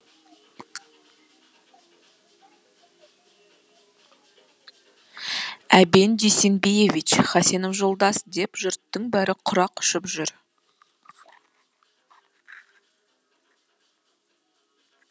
әбен дүйсенбиевич хасенов жолдас деп жұрттың бәрі құрақ ұшып жүр